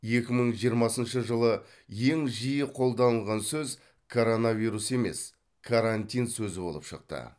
екі мың жиырмасыншы жылы ең жиі қолданылған сөз коронавирус емес карантин сөзі болып шықты